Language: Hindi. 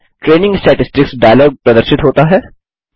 ट्रेनिंग स्टैटिस्टिक्स डायलॉग प्रदर्शित होता है